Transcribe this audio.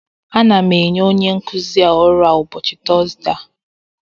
Ana m enye onye nkuzi ọrụ a ụbọchị Tọzdee a